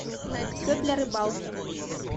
все для рыбалки